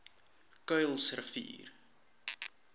kuilsrivier